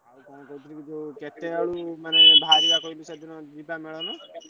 ଆଉ କଣ କହୁଥିଲି କି ଯୋଉ କେତେ ଆଉ ମାନେ ବାହାରିବା କହିଲୁ ସେଦିନ ଯିବା ମେଳଣ?